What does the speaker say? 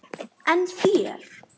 En þér?